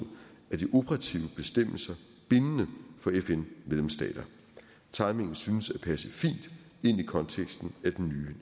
er de operative bestemmelser bindende for fn medlemsstater timingen synes at passe fint ind i konteksten af den